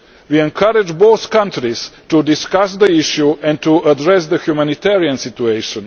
We encourage both countries to discuss the issue and to address the humanitarian situation.